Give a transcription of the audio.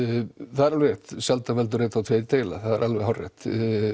það er alveg rétt sjaldan veldur einn er tveir deila það er alveg hárrétt